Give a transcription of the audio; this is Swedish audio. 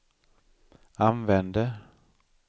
använde